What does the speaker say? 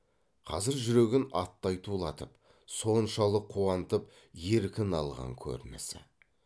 қазір жүрегін аттай тулатып соншалық қуантып еркін алған көрінісі